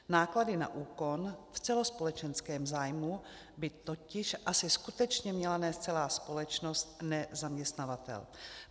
Náklady na úkon v celospolečenském zájmu by totiž asi skutečně měla nést celá společnost, ne zaměstnavatel.